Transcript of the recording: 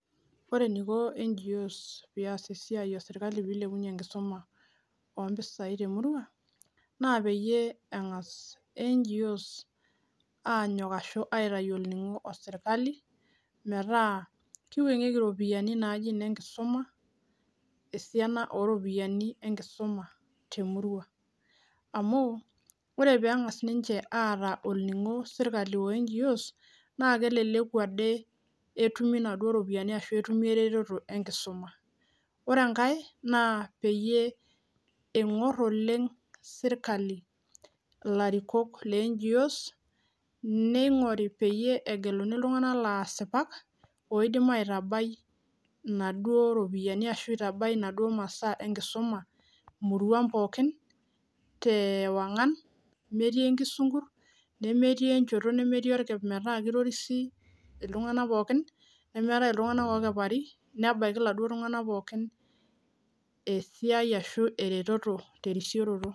ore eniko NGOs pias esiai esirkali piilepunye enkisuma temurua naa peengaas aitayu orningo tenebo orsirkali nitengel iropiani naajiinenkisuma temurua amuu ore peengaas ninyche aatum orningo naa keleleku ade peetumi eretoto tine tenkisuma ore enkae naa piingor sirkali ilarikok le NGOs peegelu iltunganak asipat oitabaya inkisiligat ooltunganak oropiani ashu nena masaa nelo aitabaiki iltunganak muj terisioroto